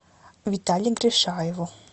витале гришаеву